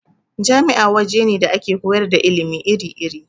Jami'a waje ne da ake koyar da ilimi iri-iri.